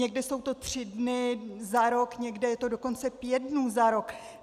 Někde to jsou tři dny za rok, někde je to dokonce pět dnů za rok.